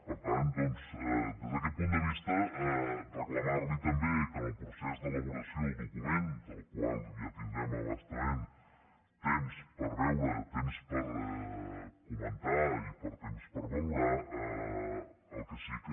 per tant doncs des d’aquest punt de vista reclamar li també que en el procés d’elaboració del document que ja tindrem a bastament temps per veure’l temps per comentar lo i temps per valorar lo el que sí que